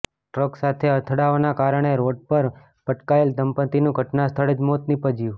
truck સાથે અથડાવાના કારણે રોડ પર પટકાયેલ દંપત્તીનું ઘટના સ્થળે જ મોત નિપજ્યું